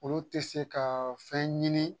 Olu tɛ se ka fɛn ɲini